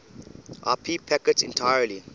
ip packets entirely